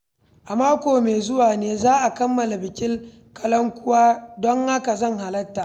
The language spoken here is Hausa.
A mako mai zuwa ne za a kammala bikin kalankuwa, don haka zan halarta.